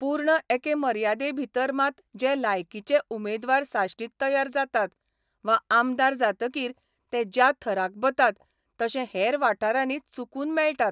पूर्ण एके मर्यादें भितर मात जे लायकीचे उमेदवार साश्टीत तयार जातात वा आमदार जातकीर ते ज्या थराक बतात तशे हेर वाठारांनी चुकून मेळटात.